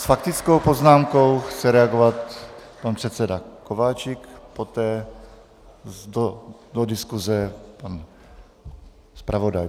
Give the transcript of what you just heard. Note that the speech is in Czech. S faktickou poznámkou chce reagovat pan předseda Kováčik, poté do diskuze pan zpravodaj.